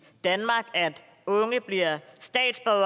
danmark at unge bliver her